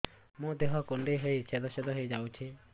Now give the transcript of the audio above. ମୋ ଦେହ କୁଣ୍ଡେଇ ହେଇ ଛେଦ ଛେଦ ହେଇ ଯାଉଛି